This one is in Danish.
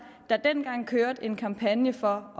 der dengang kørte en kampagne for